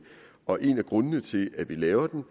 og en af grundene til at vi laver den